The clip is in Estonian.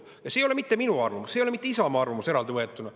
Ja see ei ole mitte minu arvamus, see ei ole mitte Isamaa arvamus eraldi võetuna.